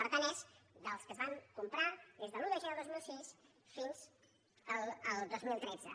per tant és dels que es van comprar des de l’un de gener del dos mil sis fins al dos mil tretze